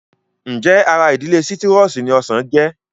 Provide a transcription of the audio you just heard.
Ǹjẹ́ ara ìdílé sítírọ́ọ̀sì ni ọsàn jẹ́?